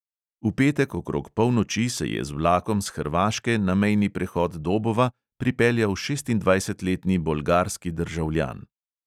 V petek okrog polnoči se je z vlakom s hrvaške na mejni prehod dobova pripeljal šestindvajsetletni bolgarski državljan.